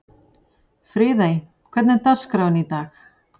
Friðey, hvernig er dagskráin í dag?